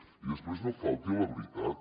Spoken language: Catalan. i després no falti a la veritat